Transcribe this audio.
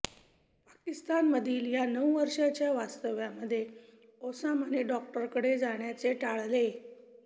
पाकिस्तानमधील या नऊ वर्षाच्या वास्तव्यामध्ये ओसामाने डॉक्टरांकडे जाण्याचे टाळले